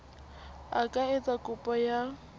a ka etsa kopo ya